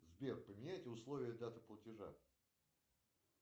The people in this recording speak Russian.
сбер поменяйте условия даты платежа